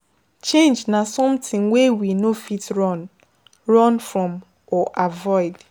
Change na something wey we no fit run run from or avoid